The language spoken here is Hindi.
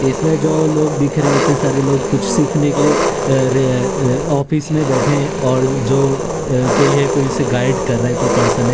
इसमें जो लोग दिख रे इतने सारे लोग कुछ सीखने के लिए र र ऑफिस में बैठे हैं और जो अ कोई है कोई इसे गाइड कर रहा है कोई पर्सन है।